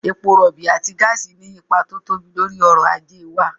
Epo rọ̀ọ̀bì àti gáàsì ní ipa tó tóbi lórí ọ̀rọ̀ ajé wa